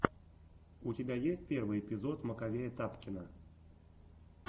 у тебя есть первый эпизод маковея тапкина